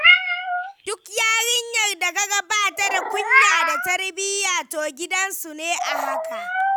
Duk yarinyar da kaga bata da kunya da tarbiyya, to gidansu ne a haka.